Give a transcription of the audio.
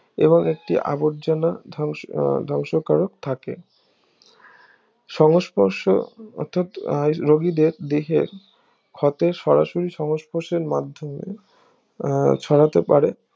এবং একটি আবর্জনা ধ্বংস ধ্বংসকারক থাকে সংস্পর্শ অর্থাৎ রোগীদের দেহের হতে সরাসরি সংস্পর্শের মাধ্যমে এর ছড়াতে পারে